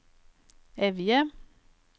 Evje